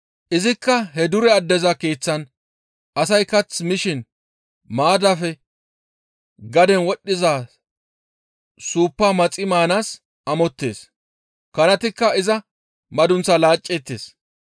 Izikka he dure addeza keeththan asay kath mishin maaddafe gaden wodhdhiza suuppa maxi maanaas amottees; kanatikka iza madunththaa laacceettes.